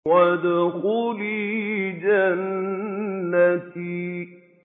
وَادْخُلِي جَنَّتِي